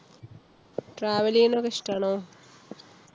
travel ഈയുന്നൊക്കെ ഇഷ്ടാണോ?